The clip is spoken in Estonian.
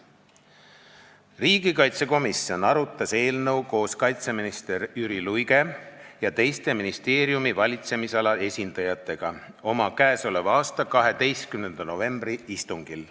Riigikaitsekomisjon arutas eelnõu koos kaitseminister Jüri Luige ja teiste ministeeriumi valitsemisala esindajatega oma k.a 12. novembri istungil.